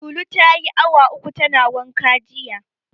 Lulu tayi awa uku tana wanka jiya.